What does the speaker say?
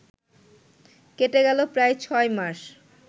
কেটে গেল প্রায় ছয় মাস